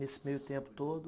Nesse meio tempo todo,